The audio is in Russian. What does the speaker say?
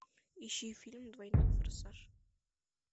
ищи фильм двойной форсаж